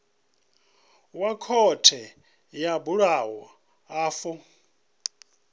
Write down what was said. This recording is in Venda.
wa khothe yo bulwaho afho